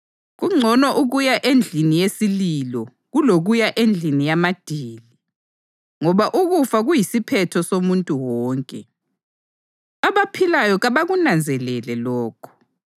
Kungcono ukuya endlini yesililo kulokuya endlini yamadili, ngoba ukufa kuyisiphetho somuntu wonke; abaphilayo kabakunanzelele lokho.